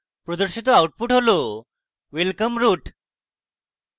প্রদর্শিত output হল: welcome root!